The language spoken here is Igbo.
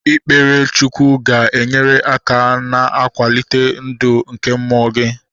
Ikpere Chukwu ga-enyere aka na-iwelite ndụ nke mmụọ gị